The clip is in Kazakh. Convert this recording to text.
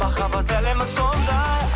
махаббат әлемі сондай